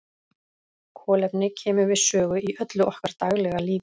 Kolefni kemur við sögu í öllu okkar daglega lífi.